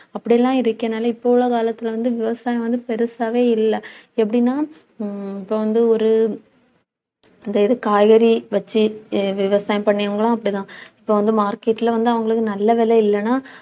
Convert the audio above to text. அப்படியெல்லாம் இருக்கறதுனால இப்ப உள்ள காலத்தில வந்து விவசாயம் வந்து, பெருசாவே இல்லை. எப்படின்னா ஹம் இப்ப வந்து, ஒரு இந்த இது காய்கறி வச்சு விவசாயம் பண்ணவங்களும் அப்படித்தான் இப்ப வந்து, market ல வந்து அவங்களுக்கு நல்ல விலை இல்லைன்னா